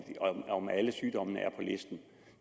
se om alle sygdommene er på listen